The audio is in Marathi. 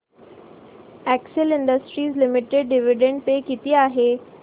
Excel industries limited dividend pay किती आहे